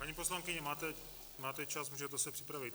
Paní poslankyně, máte čas, můžete se připravit.